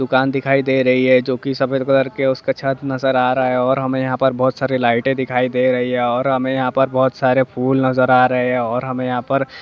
दुकान दिखाई दे रही है जो की सफेद कलर की है उसका छत नजर आ रहा है और हमें यहाँ पर बहुत सारी लाइटे दिखाई दे रही है और हमें यहाँ पर बहुत सारे फूल नजर आ रहे है और हमें यहाँ पर--